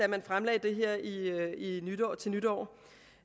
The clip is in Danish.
man fremlagde det her i nytåret